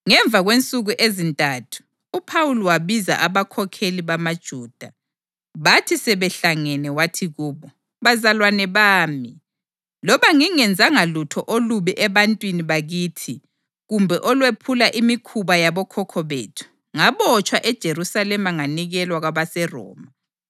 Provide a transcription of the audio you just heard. Ngemva kwensuku ezintathu uPhawuli wabiza abakhokheli bamaJuda. Bathi sebehlangene wathi kubo, “Bazalwane bami, loba ngingenzanga lutho olubi ebantwini bakithi kumbe olwephula imikhuba yabokhokho bethu, ngabotshwa eJerusalema nganikelwa kwabaseRoma.